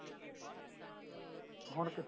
ਹੁਣ ਕਿੱਥੇ